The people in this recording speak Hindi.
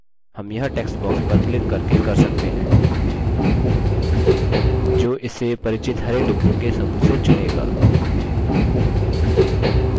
हम यह text box पर क्लिक करके कर सकते हैं जो इसे परिचित हरे डिब्बों के समूह से चुनेगा